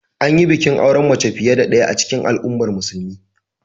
An yi bikin auren mace fiye da ɗaya a cikin al'ummar musulmin.